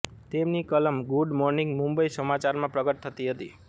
તેમની કલમ good morning Mumbai સમાચારમાં પ્રગટ થતી હતી